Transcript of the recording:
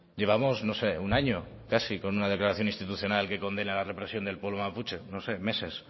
llevamos no sé un año casi con una declaración institucional que condena la represión del pueblo mapuche no sé meses